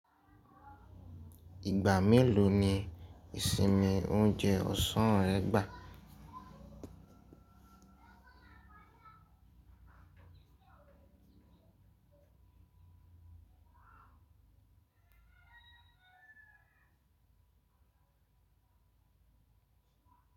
Ìgbà mélòó ni ìsinmi oúnjẹ ọ̀sán ẹ gbà?